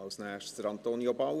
Als Erstes geht sicher auch